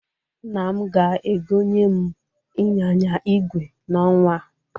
Nna m ga-egonye m ịnyịnya ìgwè n'ọnwa a.